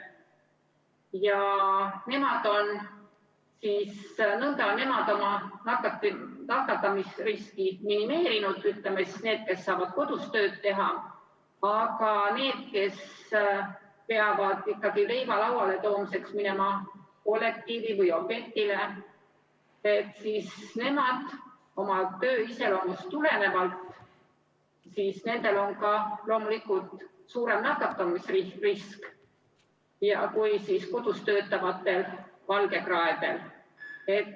Ja need, kes saavad kodus tööd teha, on nõnda oma nakatumisriski minimeerinud, aga nendel, kes peavad ikkagi leiva lauale toomiseks minema kollektiivi või objektile, on töö iseloomust tulenevalt loomulikult ka suurem nakatumisrisk kui kodus töötavatel valgekraedel.